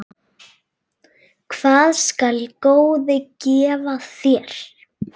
Hvað skal góði gefa þér?